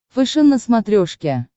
фэшен на смотрешке